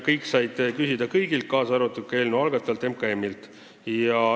Kõik said küsida kõigilt, kaasa arvatud eelnõu algatajalt MKM-lt.